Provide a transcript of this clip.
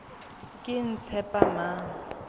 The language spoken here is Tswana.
ketshepamang